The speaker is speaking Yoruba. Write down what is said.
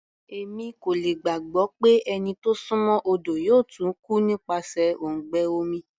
Èmi kò lè gbàgbọ́ pé ẹni tó súnmọ́ odo yóò tún kú nípasẹ̀ òǹgbẹ omi.